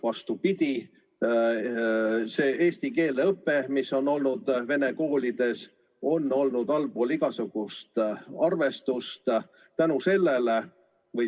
Vastupidi, see eesti keele õpe, mida on vene õppekeelega koolides pakutud, on olnud allpool igasugust arvestust.